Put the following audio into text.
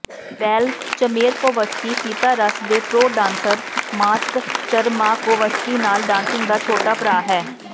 well Chmerkovskiy ਸਿਤਾਰਸ ਦੇ pro dancer Maks Chmerkovskiy ਨਾਲ ਡਾਂਸਿੰਗ ਦਾ ਛੋਟਾ ਭਰਾ ਹੈ